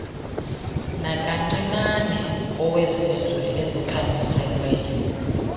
nakancinane kowezizwe ezikhanyiselweyo